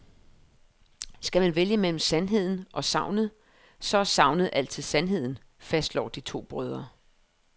Skal man vælge mellem sandheden og sagnet, så er sagnet altid sandheden, fastslår de to brødre.